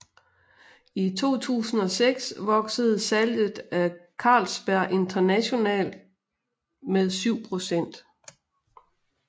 I 2006 voksede salget af Carlsberg internationalt med 7 pct